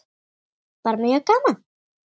Bara mjög gaman.